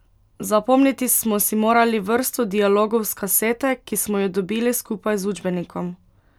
Zapomniti smo si morali vrsto dialogov s kasete, ki smo jo dobili skupaj z učbenikom.